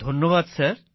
ধন্যবাদ স্যার